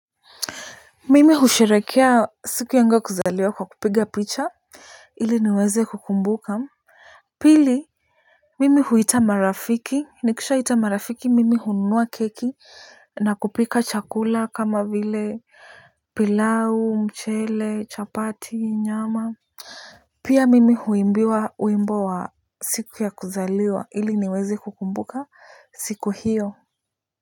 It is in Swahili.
Mimi husherekea siku yangu ya kuzaliwa kwa kupiga picha ili niweze kukumbuka. Pili mimi huita marafiki nikishaita marafiki mimi hununua keki na kupika chakula kama vile pilau mchele chapati nyama. Pia mimi huimbiwa wimbo wa siku ya kuzaliwa ili niweze kukumbuka siku hiyo.